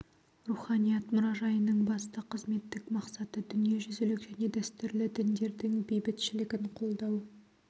руханият мұражайының басты қызметтік мақсаты дүниежүзілік және дәстүрлі діндердің бейбітшілігін қолдау